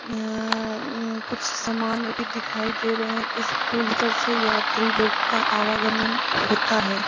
अअअअमम कुछ सामान भी दिखाई दे रहे हैं इस पुल पर से यात्री लोग का आवागमन होता है।